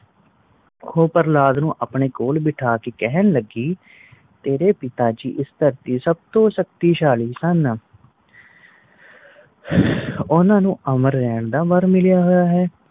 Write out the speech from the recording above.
ਓ ਪ੍ਰਹਲਾਦ ਨੂੰ ਆਪਣੇ ਕੋਲ ਬੈਠਾ ਕ ਕਹਿਣ ਲੱਗੀ ਤੇਰੇ ਪਿਤਾ ਜੀ ਇਸ ਧਰਤੀ ਤੇ ਸਬ ਤੋਂ ਸ਼ਕਤੀਸ਼ਾਲੀ ਹਨ ਓਨਾ ਨੂੰ ਅਮਰ ਰਹਿਣ ਦਾ ਵਾਰ ਮਿਲਿਆ ਹੋਇਆ ਹੈ